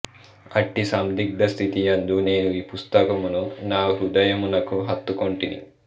అట్టి సందిగ్ధ స్థితియందు నేను ఈ పుస్తకమును నా హృదయమునకు హత్తుకొంటిని